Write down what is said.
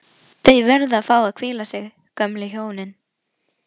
Þau verða að fá að hvíla sig, gömlu hjónin